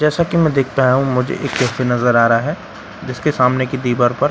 जैसे कि मैं देख पा रहा हूं मुझे एक कैफे नजर आ रहा है जिसके सामने की दीवार पर फास्ट --